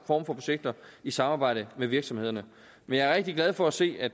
for projekter i samarbejde med virksomhederne men jeg er rigtig glad for at se at